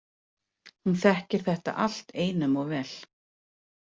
Hún þekkir þetta allt einum of vel.